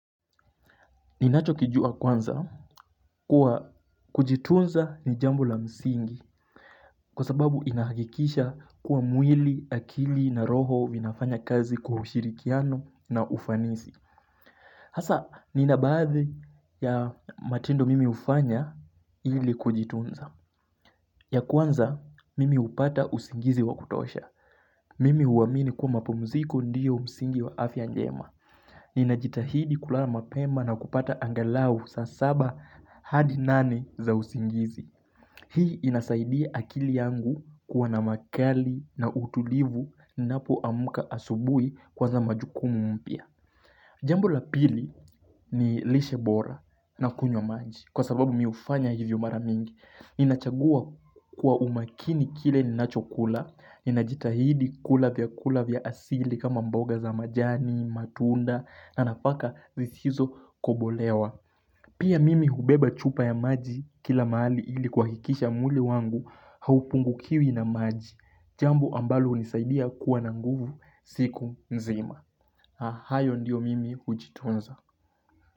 Ninacho kijua kwanza kuwa kujitunza ni jambo la msingi Kwa sababu inahakikisha kuwa mwili, akili na roho vinafanya kazi kwa ushirikiano na ufanisi. Hasa ninabaadhi ya matendo mimi ufanya ili kujitunza ya kwanza mimi upata usingizi wa kutosha. Mimi uamini kuwa mapumziko ndiyo msingi wa afia anjema. Nina jitahidi kulala mapema na kupata angalau saa saba hadi nane za usingizi. Hii inasaidia akili yangu kuwa na makali na utulivu ninapoamuka asubui kuan za majukumu mpia. Jambu la pili ni lishe bora na kunywa maji kwa sababu miufanya hivyo maramingi Nina chagua kwa umakini kile ninachokula Inajitahidi kula vya kula vya asili kama mboga za majani, matunda na napaka vizhizo kobolewa. Pia mimi hubeba chupa ya maji kila mali ili kuhahikisha mwili wangu haupungu kiwi na maji Jambu ambalo unisaidia kuwa na nguvu siku mzima. Ahayo ndiyo mimi ujitunza.